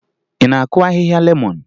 Ị na-akụ ahịhịa lemọn?